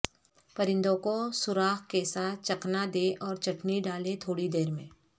پرندوں کو سوراخ کے ساتھ چکنا دیں اور چٹنی ڈالیں تھوڑی دیر میں